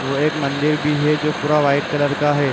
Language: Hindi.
वो एक मंदिर भी है जो पूरा व्हाइट कलर का है।